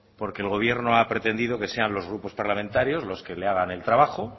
porque el gobierno ha pretendido que sean los grupos parlamentarios los que les haga el trabajo